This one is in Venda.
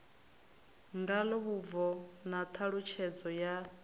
ngalo vhubvo na ṱhalutshedzo ya